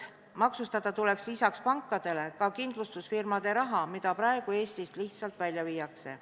Maksustada tuleks lisaks pankadele ka kindlustusfirmade raha, mida praegu Eestist lihtsalt välja viiakse.